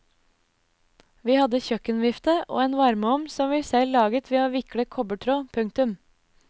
Vi hadde kjøkkenvifte og en varmeovn som vi selv laget ved å vikle kobbertråd. punktum